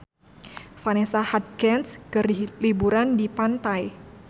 Vanessa Hudgens keur liburan di pantai